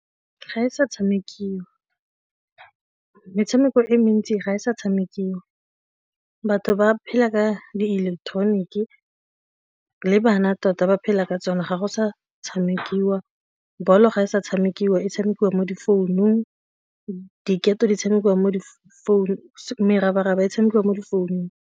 Ga e sa tshamekiwa, metshameko e mentsi ga e sa tshamekiwa batho ba phela ka di ileketoroniki le bana tota ba phela ka tsona ga go sa tshamekiwa ball-o ga e sa tshamekiwa e tshamekiwa mo difounung diketo, di tshamekiwa mo difounung merabaraba e tshamekiwa mo difounung.